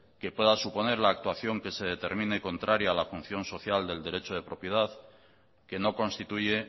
que pueda suponer la actuación que se determine contraria a la función social del derecho de propiedad que no constituye